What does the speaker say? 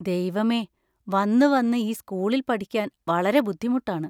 ദൈവമേ, വന്നുവന്ന് ഈ സ്കൂളിൽ പഠിക്കാൻ വളരെ ബുദ്ധിമുട്ടാണ്.